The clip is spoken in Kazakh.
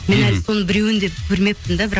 мен әлі соның біреуін де көрмеппін де бірақ